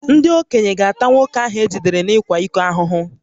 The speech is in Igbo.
Ndị okenye ga-ata nwoke ahụ e jidere n’ịkwa iko